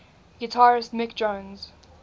guitarist mick jones